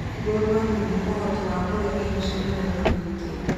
Ngũrũwe nĩ irĩ ũhoti wa kũrĩa irio cia mĩthemba mĩingĩ.